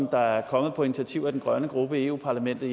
der er kommet på initiativ af den grønne gruppe i europa parlamentet